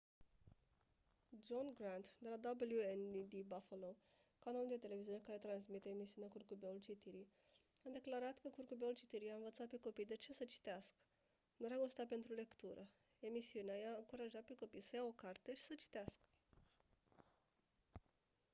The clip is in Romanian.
john grant de la wned buffalo canalul de televiziune care transmite emisiunea curcubeul citirii a declarat că «curcubeul citirii i-a învățat pe copii de ce să citească ... dragostea pentru lectură — [emisiunea] i-a încurajat pe copii să ia o carte și să citească»